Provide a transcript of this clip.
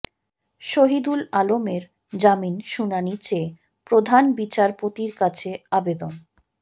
শহিদুল আলমের জামিন শুনানি চেয়ে প্রধান বিচারপতির কাছে আবেদন